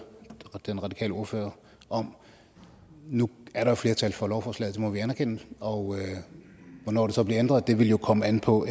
den radikale ordfører om nu er der flertal for lovforslaget det må vi anerkende og hvornår det så bliver ændret vil jo komme an på